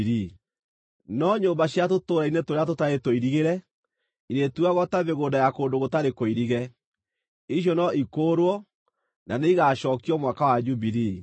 No nyũmba cia tũtũũra-inĩ tũrĩa tũtarĩ tũirigĩre, irĩtuagwo ta mĩgũnda ya kũndũ gũtarĩ kũirige. Icio no ikũũrwo, na nĩ igaacookio Mwaka wa Jubilii.